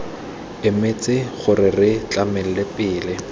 emetse gore re tlhalane pele